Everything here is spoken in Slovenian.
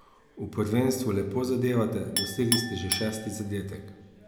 V prvenstvu lepo zadevate, dosegli ste že šesti zadetek.